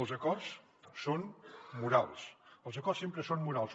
els acords són morals els acords sempre són morals